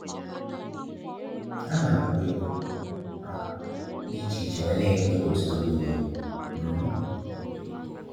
Ha na agụ kwa egwu um di iche-iche wee n'enye Chineke otito mgbe nile. um